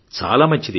చాలా మంచిది